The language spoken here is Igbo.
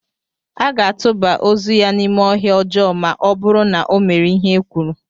A ga-atụba ozu ya n'ime ọhịa ọjọọ ma ọ bụrụ na ọ mere ihe e kwuru.